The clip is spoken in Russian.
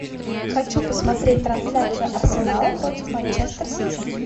хочу посмотреть трансляцию арсенала против манчестер сити